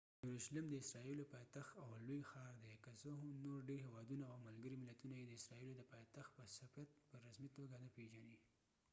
یروشلم د اسرايلو پايتخت او لوي ښاردي که څه هم نور ډیر هیوادونه او ملګری ملتونه یې د اسرایلو د پایتخت په صفت په رسمی توګه نه پیژنی